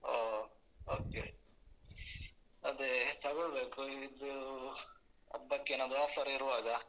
ಓ Okay okay ಅದೇ ತಗೊಳ್ಬೇಕು ಇದು ಹಬ್ಬಕ್ಕೇನಾದ್ರು offer ಇರುವಾಗ.